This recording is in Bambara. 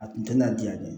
A kun tɛ na diya ne ye